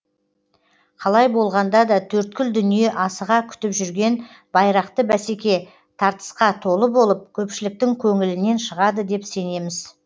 қалай болғанда да төрткүл дүние асыға күтіп жүрген байрақты бәсеке тартысқа толы болып көпшіліктің көңілінен шығады деп сенеміз